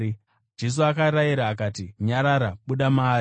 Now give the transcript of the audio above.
Jesu akarayira akati, “Nyarara! Buda maari!”